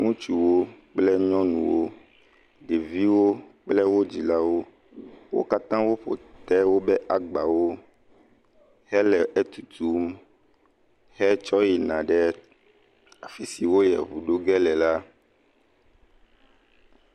Ŋutsuwo kple nyɔnuwo, ɖeviwo kple wo dzilawo, wo katã woƒe te wobe agbawo hele etutum hetsɔ yina ɖe afi si woyie ɖe eŋu ɖo ge le la.